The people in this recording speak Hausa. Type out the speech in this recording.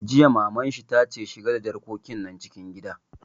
Jiya Maman shi ta ce 'Shiga da jarkokin nan cikin gida'!